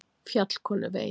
Fjallkonuvegi